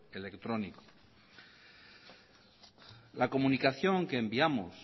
electrónico la comunicación que enviamos